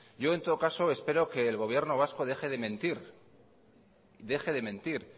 yo en todo caso espero que el gobierno vasco deje de mentir